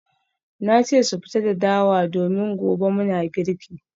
Na ce su fito da dawa domin gobe muna girki